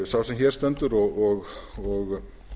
sá sem hér stendur og